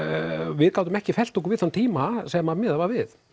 við gátum ekki fellt okkur við þann tíma sem að miðað var við